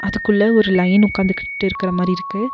அதுக்குள்ள ஒரு லயன் உக்காந்துகிட்டு இருக்கற மாரி இருக்கு.